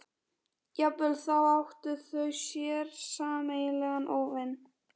Jafnvel þá áttu þau sér sameiginlegan óvin.